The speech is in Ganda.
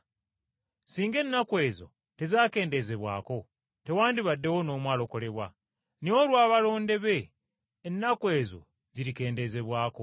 Singa ennaku ezo tezakendezebwako, tewandibadde n’omu alokolebwa. Naye olw’abalonde be ennaku ezo zirikendezebwako.